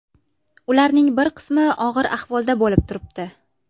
Ularning bir qismi og‘ir ahvolda bo‘lib turibdi.